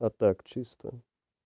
а так чисто